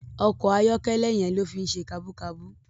Òkò àyòkèlè yèn ló fi n sé kàbúkàbú